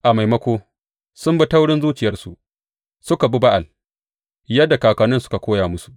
A maimako, sun bi taurin zuciyarsu; suka bi Ba’al, yadda kakanninsu suka koya musu.